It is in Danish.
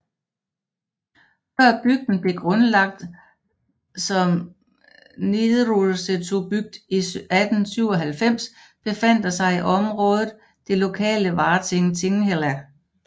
Før bygden blev grundlagt som Niðursetubygd i 1897 befandt der sig i området det lokale Várting Tinghella